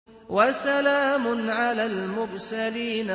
وَسَلَامٌ عَلَى الْمُرْسَلِينَ